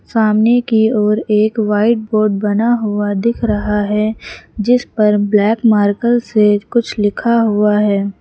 सामने की ओर एक व्हाइट बोर्ड बना हुआ दिख रहा है जिस पर ब्लैक मार्कर से कुछ लिखा हुआ है।